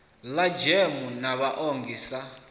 ḽa gems na vhaongi sa